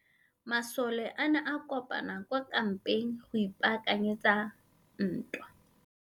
Masole a ne a kopane kwa kampeng go ipaakanyetsa ntwa.